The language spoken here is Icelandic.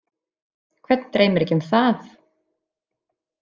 Hvern dreymir ekki um það?